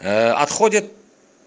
отходят